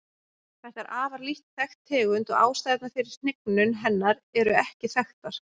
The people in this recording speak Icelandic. Þetta er afar lítt þekkt tegund og ástæðurnar fyrir hnignun hennar eru ekki þekktar.